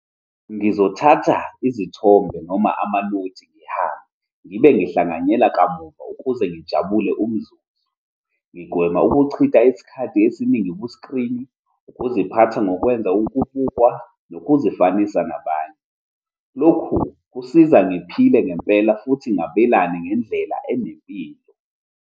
Ngizothatha izithombe noma amanothi ngihambe ngibe ngihlanganyele kamuva ukuze ngijabule umzuzu. Ngigwema ukuchitha isikhathi esiningi ku-screen, ukuziphatha nokwenza ukubukwa nokuzifanisa nabanye. Lokhu kusiza ngiphile ngempela futhi ngabelane ngendlela enempilo.